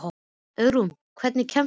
Auðrún, hvernig kemst ég þangað?